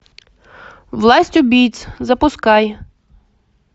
власть убийц запускай